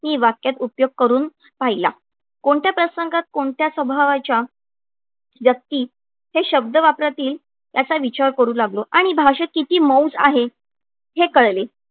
मी वाक्यात उपयोग करून पाहिला. कोणत्या प्रसंगात कोणत्या स्वभावाच्या व्यक्ती हे शब्द वापरातील याचा विचार करू लागलो, आणि भाषेत किती मौज आहे हे कळले.